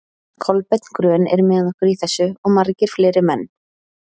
Kolbeinn grön er með okkur í þessu, og margir fleiri menn.